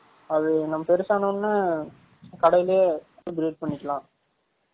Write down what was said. அது னம்ம பேருசு ஆன உடனனே கடைலயே breed பன்னிகாலாம்